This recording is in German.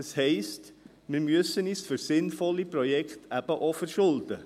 Das heisst, wir müssen uns für sinnvolle Projekte eben auch verschulden.